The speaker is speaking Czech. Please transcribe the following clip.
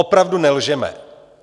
Opravdu nelžeme!